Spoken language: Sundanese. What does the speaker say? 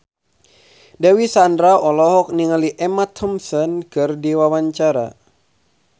Dewi Sandra olohok ningali Emma Thompson keur diwawancara